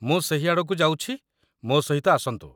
ମୁଁ ସେହି ଆଡ଼କୁ ଯାଉଛି, ମୋ ସହିତ ଆସନ୍ତୁ